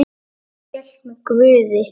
Amma hélt með Guði.